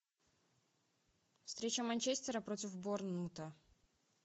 встреча манчестера против борнмута